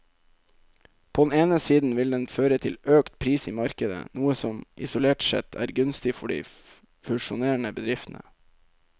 På den ene siden vil den føre til økt pris i markedet, noe som isolert sett er gunstig for de fusjonerende bedriftene.